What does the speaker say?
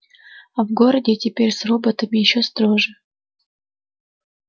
а в городе теперь с роботами ещё строже